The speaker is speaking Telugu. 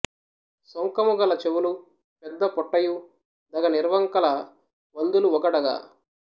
సొంకము గలచెవులు పెద్దపొట్టయు దగ ని ర్వంకల వందులు వొగడగ